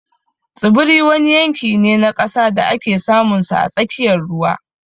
Tsibiri wani yanki ne na ƙasa da ake samunsa a tsakiyar ruwa